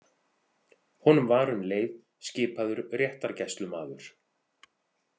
Honum var um leið skipaður réttargæslumaður.